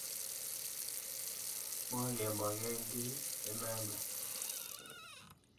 Moke moken kiy inendet.